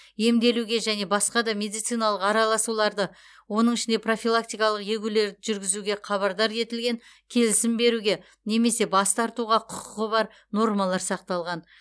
емделуге және басқа да медициналық араласуларды оның ішінде профилактикалық егулерді жүргізуге хабардар етілген келісім беруге немесе бас тартуға құқығы бар нормалар сақталған